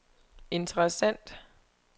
interessant